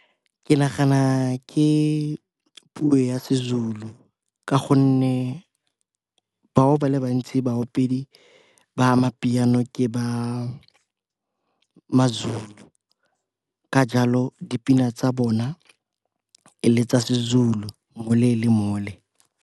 Ke nagana ke puo ya seZulu ka gonne bao ba le bantsi baopedi ba ma Amapiano ke ba maZulu, ka jalo dipina tsa bona e le tsa seZulu mole le mole.